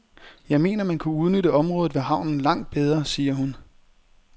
Jeg mener, man kunne udnytte området ved havnen langt bedre, siger hun.